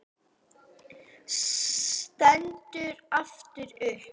Stendur aftur upp.